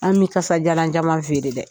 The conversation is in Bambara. An bɛ kasajalan caman feere dɛ